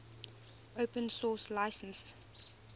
open source license